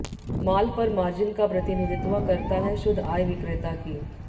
माल पर मार्जिन का प्रतिनिधित्व करता है शुद्ध आय विक्रेता की